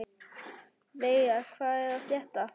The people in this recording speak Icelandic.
Veiga, hvað er að frétta?